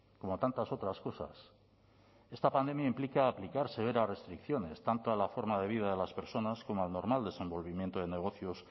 como tantas otras cosas esta pandemia implica aplicar severas restricciones tanto a la forma de vida de las personas como al normal desenvolvimiento de negocios